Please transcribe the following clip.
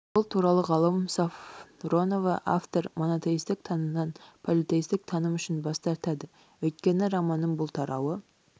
бұл туралы ғалым сафронова автор монотеистік танымнан политеистік таным үшін бас тартады өйткені романның бұл тарауы